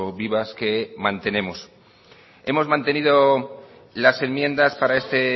vivas que mantenemos hemos mantenido las enmiendas para este